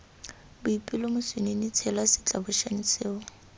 boipelo moswinini tshela setlabošane seo